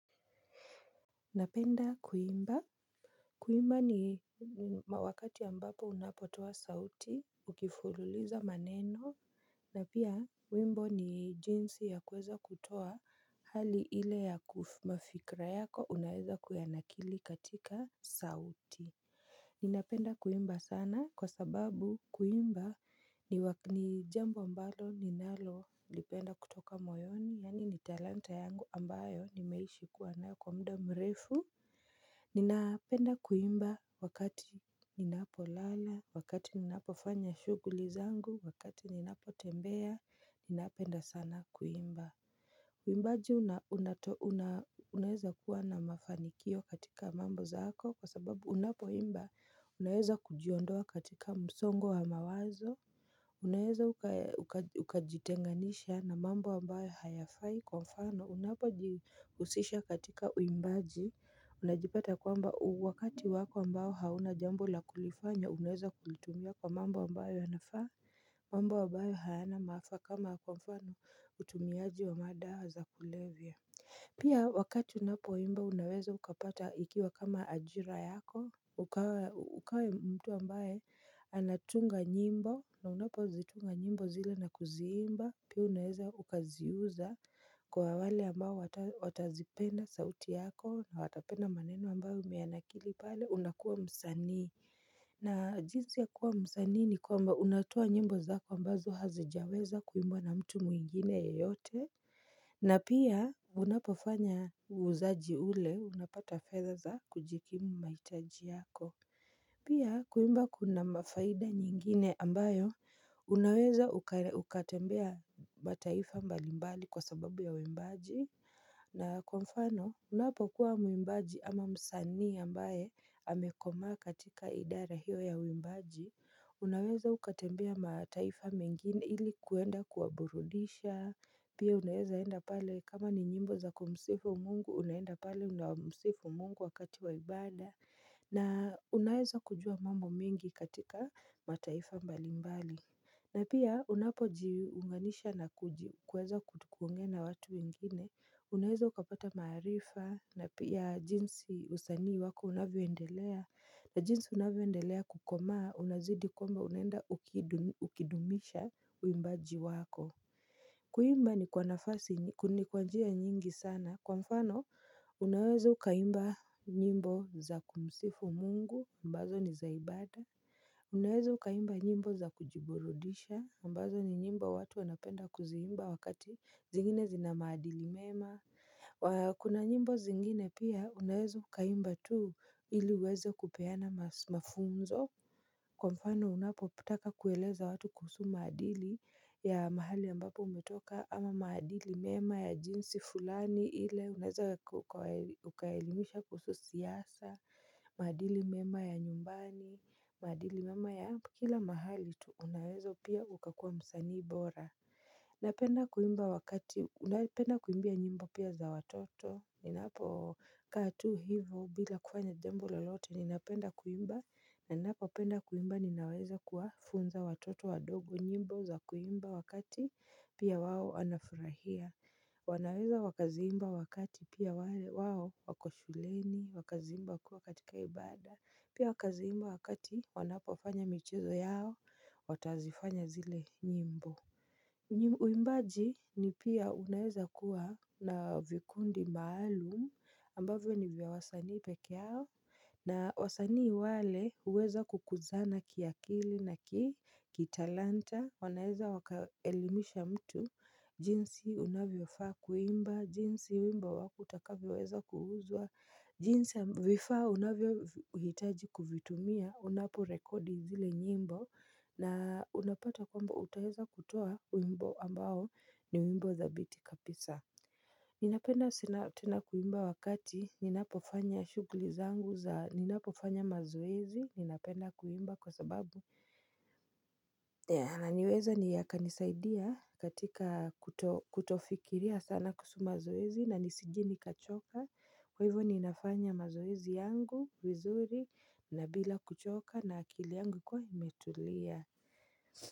Napenda kuimba. Kuimba ni wakati ya mbapo unapotoa sauti, ukifululiza maneno, na pia wimbo ni jinsi ya kuweza kutoa hali ile ya mafikra yako unaweza kuyanakili katika sauti. Ninapenda kuimba sana kwa sababu kuimba ni jambo mbalo ni nalo lipenda kutoka moyoni yani ni talanta yangu ambayo nimeishi kuwana kwa mda mrefu. Ninapenda kuimba wakati ninapo lala, wakati ninapo fanya shuguli zangu, wakati ninapo tembea, ninapenda sana kuimba. Uimbaji unaheza kuwa na mafanikio katika mambo zaako kwa sababu unapo imba unaheza kujiondoa katika msongo wa mawazo. Unaweza ukajitenganisha na mambo wambayo hayafai kwa mfano unapo jikusisha katika uimbaji Unajipata kwamba wakati wako mbao hauna jambo la kulifanya unaweza kulitumia kwa mambo wambayo hanafaa mambo wabayo hayana maafa kama kwa mfano utumiaji wa madao za kulevia Pia wakati unapo imba unaweza ukapata ikiwa kama ajira yako ukawa mtu ambaye anatunga nyimbo na unapozitunga nyimbo zile na kuzimba Pia unaeza ukaziuza kwa wale ambao watazipenda sauti yako na watapenda maneno ambao umeanakili pale unakua msani na jinzi ya kuwa msani ni kwamba unatua nyimbo zako ambazo hazijaweza kuimbo na mtu muingine ya yote na pia unapofanya uuzaji ule unapata feather za kujikimu maitaji yako Pia kuimba kuna mafaida nyingine ambayo unaweza ukatembea mataifa mbalimbali kwa sababu ya wimbaji na kwa mfano unapokuwa mwimbaji ama msani ambaye amekoma katika idara hiyo ya wimbaji Unaweza ukatembea mataifa mingini ilikuenda kuwaburudisha Pia unaeza enda pale kama ni nyimbo za kumsefu mungu unaeza pale unamsefu mungu wakati waibada na unaeza kujua mambo mingi katika mataifa mbali mbali na pia unapojiunganisha na kuweza kutukungena watu wengine Unaeza ukapata marifa na pia jinsi usanii wako unavyoendelea na jinsi unavyoendelea kukomaa unazidi kumba unenda ukidumisha uimbaji wako Kuimba ni kwanafasi ni kwanjia nyingi sana kwa mfano unaweza ukaimba nyimbo za kumsifu mungu mbazo ni zaibada Unaweza ukaimba nyimbo za kujiborodisha mbazo ni nyimbo watu wanapenda kuzimba wakati zingine zinamaadili mema Kuna nyimbo zingine pia unaweza ukaimba tu ili weze kupeana mafunzo Kwa mfano unapo putaka kueleza watu kuhusu maadili ya mahali ambapo umetoka ama maadili mema ya jinsi fulani ile unaweza ukailimisha kuhusu siyasa, maadili mema ya nyumbani, maadili mema ya kila mahali tuunawezo pia ukakuwa msanii bora. Napenda kuimba wakati unapenda kuimbia nyimbo pia za watoto Ninapo katu hivo bila kufanya dembo lalote ninapenda kuimba Ninapo penda kuimba ninaweza kuafunza watoto wadogo nyimbo za kuimba wakati pia wawo anafurahia wanaweza wakaziimba wakati pia wawo wakoshuleni wakaziimba wakua katika ibada Pia wakaziimba wakati wanapofanya michezo yao watazifanya zile nyimbo Uimbaji ni pia unaeza kuwa na vikundi maalumu ambavyo ni vya wasani pekeao na wasani wale uweza kukuzana kiakili na kitalanta wanaeza wakaelimisha mtu, jinsi unavyo faa kuimba, jinsi unavyo faa kuimba, jinsi unavyo faa wakutakavi weza kuhuzwa, jinsi unavyo faa unavyo hitaji kuvitumia, unapo rekodi zile nyimbo, na unapata kwamba utaheza kutoa uimbo ambao ni uimbo za biti kapisa. Ninapenda sina tena kuimba wakati, ninapofanya shugli zangu za, ninapofanya mazuwezi, ninapenda kuimba kwa sababu. Naniweza ni yaka nisaidia katika kutofikiria sana kusu mazoezi na nisijini kachoka kwa hivyo ninafanya mazoezi yangu wizuri na bila kuchoka na akili yangu kwa himetulia.